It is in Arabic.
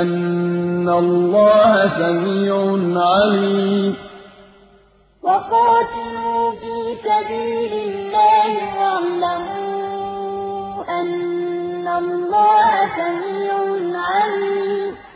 أَنَّ اللَّهَ سَمِيعٌ عَلِيمٌ وَقَاتِلُوا فِي سَبِيلِ اللَّهِ وَاعْلَمُوا أَنَّ اللَّهَ سَمِيعٌ عَلِيمٌ